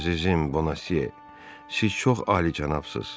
Əzizim Bona Se, siz çox alicənabsız.